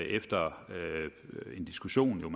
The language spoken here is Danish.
efter en diskussion man